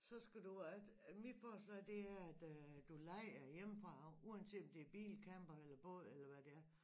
Så skal du at mit forslag det er at øh du leje hjemmefra af uanset om det er bil camper eller båd eller hvad det er